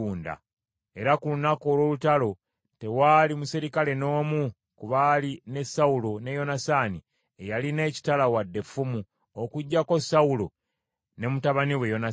Era ku lunaku olw’olutalo tewaali muserikale n’omu ku baali ne Sawulo ne Yonasaani, eyalina ekitala wadde effumu, okuggyako Sawulo ne mutabani we Yonasaani .